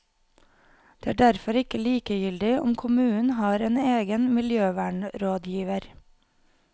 Det er derfor ikke likegyldig om kommunen har en egen miljøvernrådgiver.